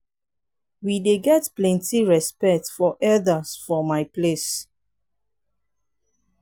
we dey get plenty respect for elders for my place.